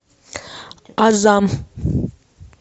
азам